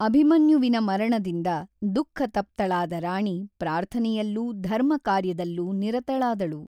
ಅಭಿಮನ್ಯುವಿನ ಮರಣದಿಂದ ದುಖಃತಪ್ತಳಾದ ರಾಣಿ ಪ್ರಾರ್ಥನೆಯಲ್ಲೂ ಧರ್ಮಕಾರ್ಯದಲ್ಲೂ ನಿರತಳಾದಳು.